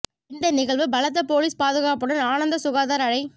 இந்த நிகழ்வு பலத்த பொலீஸ் பாதுகாப்புடன் ஆனந்தசுதாகர் அழை